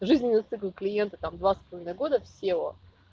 жизненный цикл клиента там два с половиной года в сео